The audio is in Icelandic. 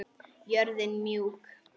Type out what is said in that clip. Jörðin mjúk.